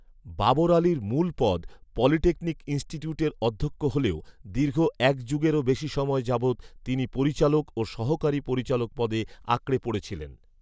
বাবর আলীর মূলপদ পলিটেকনিক ইনস্টিটিউটের অধ্যক্ষ হলেও, দীর্ঘএক যুগেরও বেশি সময় যাবত তিনি পরিচালক ও সহকারি পরিচালক পদে আঁকড়ে পড়েছিলেন